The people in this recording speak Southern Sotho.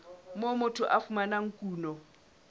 moo motho a fumanang kuno